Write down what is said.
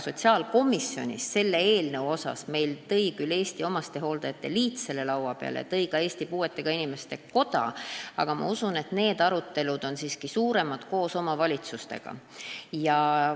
Sotsiaalkomisjoni lauale tõid selle seoses eelnõuga omastehooldajate ühendus ja Eesti Puuetega Inimeste Koda, aga ma usun, et suuremad arutelud käivad siiski koos omavalitsustega.